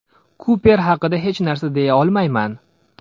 Kuper haqida hech nima deya olmayman.